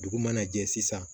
Dugu mana jɛ sisan